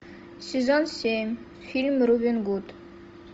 сезон семь фильм робин гуд